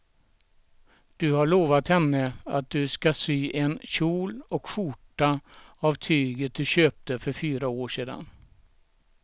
Du har lovat henne att du ska sy en kjol och skjorta av tyget du köpte för fyra år sedan.